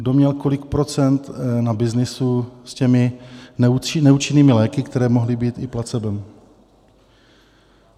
Kdo měl kolik procent na byznysu s těmi neúčinnými léky, které mohly být i placebem?